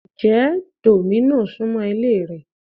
Ǹjẹ́ Domino's súmọ́ ilé rẹ?